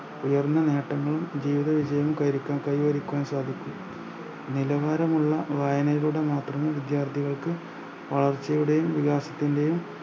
ഉയർന്ന നേട്ടങ്ങൾ ജീവിത വിജയം കൈവരിക്കാൻ കൈവരിക്കുവാൻ സാധിക്കും നിലവാരമുള്ള വായനയിലൂടെ മാത്രമേ വിദ്യാർത്ഥികൾക്ക് വളർച്ചയുടെയും വികാസത്തിൻറെയും